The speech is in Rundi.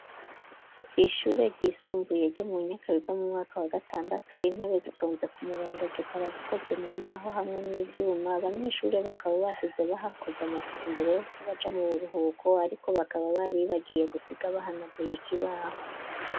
Kw'ishure ryisumbuye ryo mu Nyakabiga mu mwaka wa gatandatu intebe zitonze ku murongo zikaba zikozwe mu mbaho hamwe n'ivyuma, abanyeshure bakaba basize bahakoze amasuku imbere yuko baja mu buruhuko ariko bakaba baribagiye gusiga bahanaguye ikibaho.